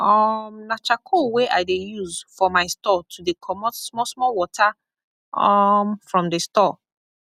um na charcoal wey i dey use for my store to dey comot small small water um from the store